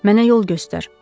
Mənə yol göstər.